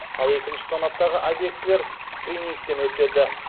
ал екінші санаттағы объектілер скринингтен өтеді